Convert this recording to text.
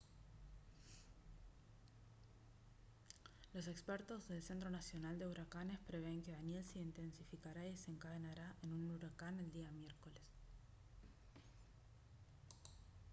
los expertos del centro nacional de huracanes prevén que danielle se intensificará y desencadenará un en huracán el día miércoles